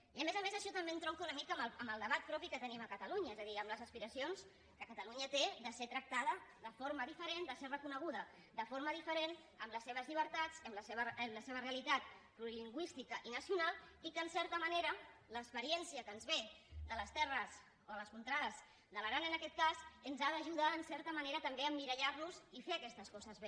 i a més a més això també entronca una mica amb el debat propi que tenim a catalunya és a dir amb les aspiracions que catalunya té de ser tractada de forma diferent de ser reconeguda de forma diferent amb les seves llibertats amb la seva realitat plurilingüística i nacional i que en certa manera l’experiència que ens ve de les terres o de les contrades de l’aran en aquest cas ens ha d’ajudar en certa manera també a emmirallar nos i fer aquestes coses bé